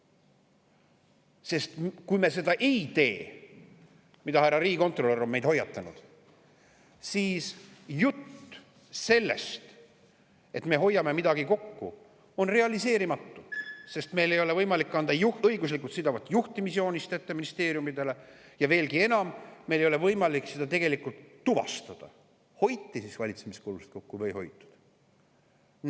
Sest kui me seda ei tee – härra riigikontrolör on meid juba selle eest hoiatanud –, siis jutt sellest, et me hoiame midagi kokku, on realiseerimatu, sest meil ei ole võimalik anda ministeeriumidele ette õiguslikult siduvat juhtimisjoonist, ja veelgi enam, meil ei ole tegelikult võimalik tuvastada, kas siis hoiti valitsemiskulusid kokku või ei hoitud.